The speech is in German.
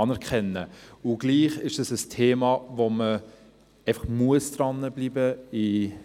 Und doch ist das ein Thema, an dem man einfach dranbleiben muss.